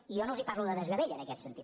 i jo no els parlo de desgavell en aquest sentit